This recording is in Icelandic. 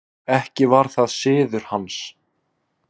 Ekki var það siður hans.